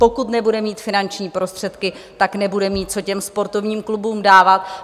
Pokud nebude mít finanční prostředky, tak nebude mít co těm sportovním klubům dávat.